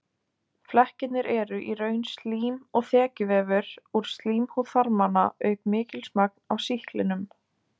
Flekkirnir eru í raun slím og þekjuvefur úr slímhúð þarmanna auk mikils magns af sýklinum.